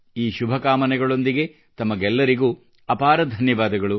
ಈ ಶುಭಕಾಮನೆಗಳೊಂದಿಗೆ ತಮಗೆಲ್ಲರಿಗೂ ಅಪಾರ ಧನ್ಯವಾದಗಳು